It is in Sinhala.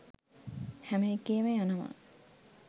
හැම එකේම යනවා